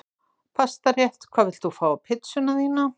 Pastarétt Hvað vilt þú fá á pizzuna þína?